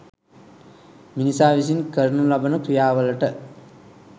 මිනිසා විසින් කරනු ලබන ක්‍රියාවලට